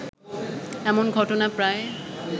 এমন ঘটনা প্রায়